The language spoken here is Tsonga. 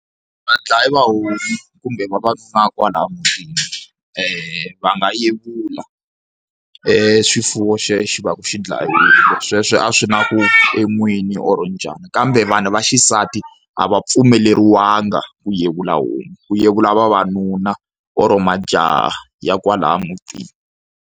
Vadlaya va homu kumbe vavanuna va kwalahaya mutini va nga yevula swifuwo xexo xi va ku xi dlayiwile sweswo a swi na ku u n'wini or njhani. Kambe vanhu vaxisati a va pfumeleriwanga ku yevula homu, ku yevula vavanuna or majaha ya kwalahaya mutini.